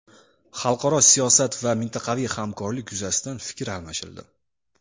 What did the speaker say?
Xalqaro siyosat va mintaqaviy hamkorlik yuzasidan fikr almashildi.